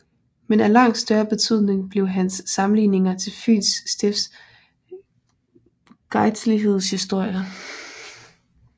Men af langt større betydning blev hans samlinger til Fyns Stifts gejstligheds historie